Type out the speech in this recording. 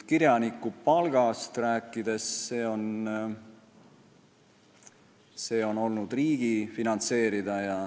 Kirjanikupalgast rääkides, see on olnud riigi finantseerida.